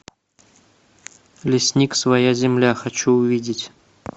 лесник своя земля хочу увидеть